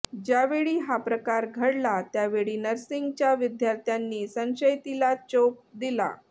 ज्यावेळी हा प्रकार घडला त्यावेळी नर्सिंगच्या विद्यार्थ्यांनी संशयिताला चोप दिला